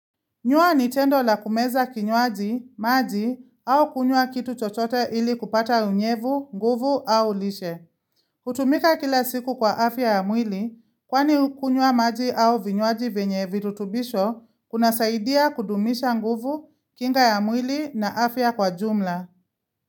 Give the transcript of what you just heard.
Nywa ni tendo la kumeza kinywaji, maji au kunywa kitu chochote ili kupata unyevu, nguvu au lishe. Kutumika kila siku kwa afya ya mwili, kwani kunywa maji au vinywaji vyenye virutubisho, kunasaidia kudumisha nguvu, kinga ya mwili na afya kwa jumla.